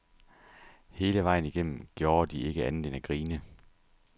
Hele vejen igennem gjorde de ikke andet end at grine.